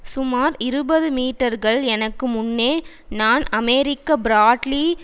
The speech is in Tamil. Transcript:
சுமார் இருபது மீட்டர்கள் எனக்கு முன்னே நான் அமெரிக்க பிராட்லி